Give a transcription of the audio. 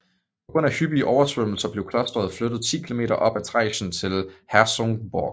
På grund af hyppige oversvømmelser blev klosteret flyttet 10 km op ad Traisen til Herzogenburg